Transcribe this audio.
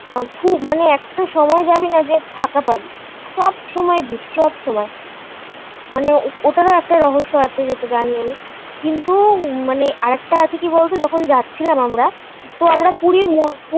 মানে একটা সময় যাবি না যে ফাঁকা পাবি সব সময় ভিড় সবসময় মানে ওটারও একটা রহস্য আছে যেটা জানি আমি. কিন্তু মানে আর একটা আছে কি বলতো যখন যাচ্ছিলাম আমরা. তো আমরা পুরীর